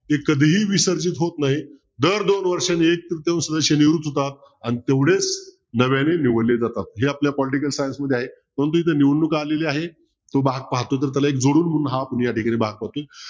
ते कधीही विसर्जित होत नाही दर दोन वर्षांनी अन तेवढेच नव्याने निवडले जातात जे आपल्या political science मध्ये आहे निवडणूक आलेली आहे तो भाग पाहतो तर त्याला जोडून या